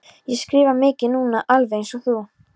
Ég skrifa mikið núna, alveg einsog þú.